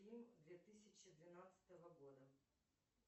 фильм две тысячи двенадцатого года